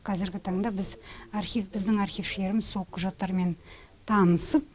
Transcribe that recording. қазіргі таңда біз архив біздің архившілеріміз сол құжаттармен танысып